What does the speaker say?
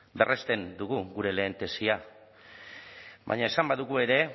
berresten dugu gure lehen tesia baina esan badugu ere